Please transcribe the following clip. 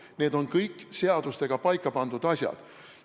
Need on kõik seadustega paika pandud asjad.